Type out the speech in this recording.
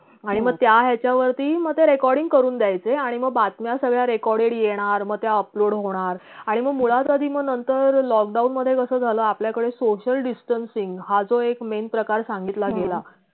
आणि मग त्या याच्यावरती मग recording ते करून देयचे आणि बातम्या सगळ्या recorded येणार मग त्या upload होणार आणि मग मुळात आधी मग नंतर lockdown मधे जस झाल आपल्याकडे social distancing हा जो एक main प्रकार सांगितला गेला